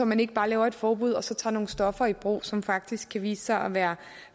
man ikke bare laver et forbud og så tager nogle stoffer i brug som faktisk kan vise sig at være